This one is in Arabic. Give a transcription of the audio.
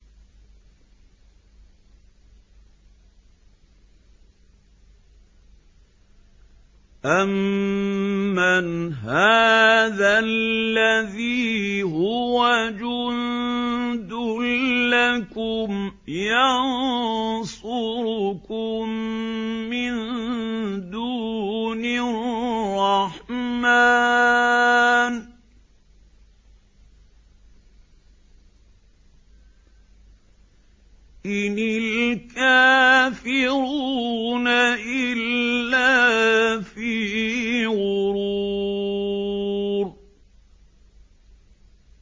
أَمَّنْ هَٰذَا الَّذِي هُوَ جُندٌ لَّكُمْ يَنصُرُكُم مِّن دُونِ الرَّحْمَٰنِ ۚ إِنِ الْكَافِرُونَ إِلَّا فِي غُرُورٍ